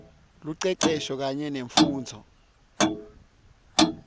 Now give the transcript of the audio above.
lucecesho kanye nemfundvo